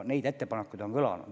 Neid ettepanekuid on kõlanud.